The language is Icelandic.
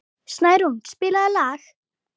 Snærún, spilaðu lag.